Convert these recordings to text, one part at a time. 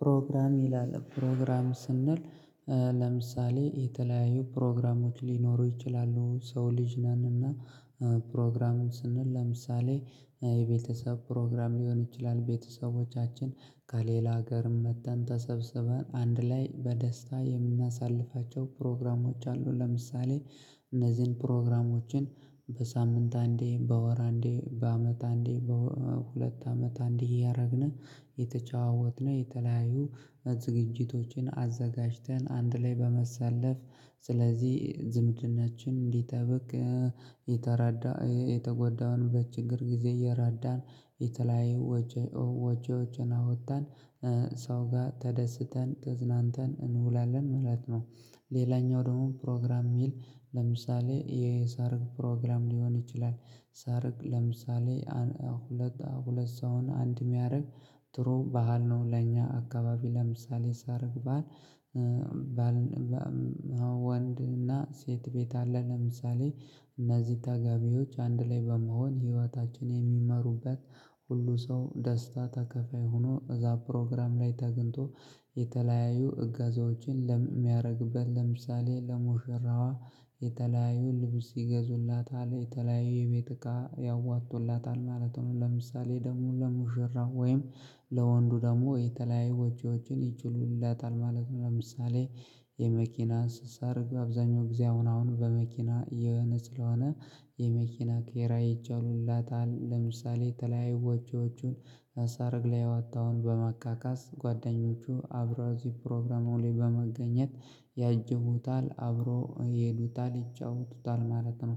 ፕሮግራም ይላል ፕሮግራም ስንል ለምሳሌ የተለያዩ ፕሮግራሞች ሊኖሩ ይችላሉ ሰው ልጅ ነን እና ፕሮግራሙን ስንል ለምሳሌ የቤተሰብ ፕሮግራም ሊሆን ይችላል ቤተሰቦቻችን ከሌላ ሀገርም መጥተን ተሰብስበን አንድ ላይ በደስታ የምናሳልፋቸው ፕሮግራሞች አሉ ለምሳሌ እነዚህን ፕሮግራሞችን በሳምንት አንዴ በወር አንዴ በአመት አንዴ በሁለት አመት አንዴ እያደረግን የተጫወትነው የተለያዩ ዝግጅቶችን አዘጋጅተን አንድ ላይ በማሳለፍ ስለዚህ ዝምድናችን እንዲጠብቅ የተረዳ የተጎዳንበት በችግር ጊዜ የረዳን የተለያዩ ወጆችን አወጣን ሰው ጋር ተደስተን ተዝናንተን እንውላለን ማለት ነው። ሌላኛው ደግሞ ፕሮግራም የሚል ለምሳሌ የሰርግ ፕሮግራም ሊሆን ይችላል ሰርግ ለምሳሌ ሁለት ሁለት ሰውን አንድ የሚያደርግ ጥሩ ባህል ነው። ለኛ አካባቢ ለምሳሌ ሰርግ ባል ባል ወንድ እና ሴት ቤት አለ። ለምሳሌ እነዚህ ተጋቢዎች አንድ ላይ በመሆን ህይወታችን የሚመሩበት ሁሉም ሰው ደስታ ተካፋይ ሆኖ እዛ ፕሮግራም ላይ ተገኝቶ የተለያዩ እጋዜዎችን የሚያደርግበት ለምሳሌ ለሙሽራዋ የተለያዩ ልብስ ይገዙላታል የተለያዩ የቤት እቃ ያዋጡላታል ማለት ነው ለምሳሌ ደሞ ለሙሽራ ወይም ለወንዱ ደግሞ የተለያዩ ወጪዎችን ይችሉለታል ማለት ነው። ለምሳሌ የመኪና ሰርግ አብዛኛው ጊዜ አሁን አሁን በመኪና የሆነ ስለሆነ የመኪና ኪራይ ይችሉላታል ለምሳሌ የተለያዩ ወጪዎቹን በሰረግ ላይ ያወጣውን በማካካስ ጓደኞቹ አብረው እዚሁ ፕሮግራሙን ላይ በመገኘት ያጅቡታል አብረው ይሄዱታል ይጫወቱታል ማለት ነው።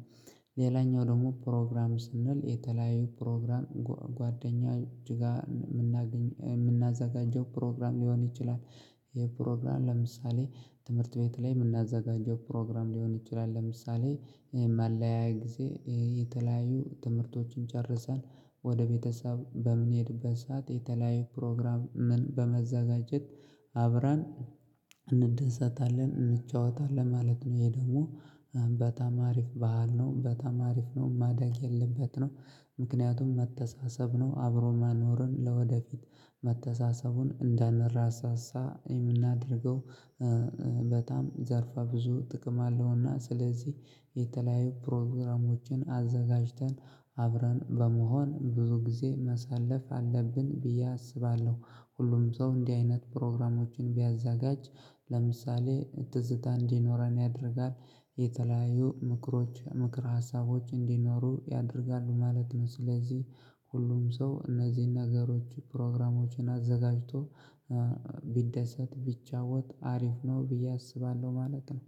ሌላኛው ደግሞ ፕሮግራም ስንል የተለያዩ ፕሮግራም ጓደኛ እጅጋ የምናገኝ የምናዘጋጀው ፕሮግራም ሊሆን ይችላል ፕሮግራም ለምሳሌ ትምህርት ቤት ላይ የምናዘጋጀው ፕሮግራም ሊሆን ይችላል ለምሳሌ ማለያያ ጊዜ የተለያዩ ትምህርቶችን ጨርሰን ወደ ቤተሰብ በምንሄድበት ሰዓት የተለያየ ፕሮግራም ምን በመዘጋጀት አብረን እንደሰታለን እንጫዋታለን ማለት ነው ይሄ ደግሞ በጣም አሪፍ ባህል ነው። በጣም አሪፍ ነው ማደግ ያለበት ነው። ምክንያቱም መተሳሰብ ነው አብሮ መኖርን ለወደፊት መተሳሰቡን እንዳንረሳሳ የምናደርገው በጣም ዘርፈ ብዙ ጥቅም አለውና ስለዚህ የተለያዩ ፕሮግራሞችን አዘጋጅተን አብረን በመሆን ብዙ ጊዜ ማሳለፍ አለብን ብዬ አስባለሁ። ሁሉም ሰው እንዲህ አይነት ፕሮግራሞችን ቢያዘጋጅ ለምሳሌ ትዝታ እንዲኖረን ያደርጋል የተለያዩ ምክሮች ምክረ ሀሳቦች እንዲኖሩ ያደርጋል ማለት ነው። ስለዚህ ሁሉም ሰው እነዚህን ነገሮች ፕሮግራሞችን አዘጋጅቶ ቢደሰት ቢጫወት አሪፍ ነው ብዬ አስባለሁ ማለት ነው